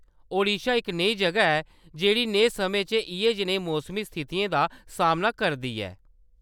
ओडिशा इक नेही जʼगा ऐ, जेह्‌ड़ी नेहे समें च इʼयै जनेही मौसमी स्थितियें दा सामना करदी ऐ।